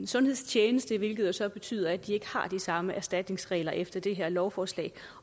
sundhedstjeneste hvilket jo så betyder at de ikke har de samme erstatningsregler efter det her lovforslag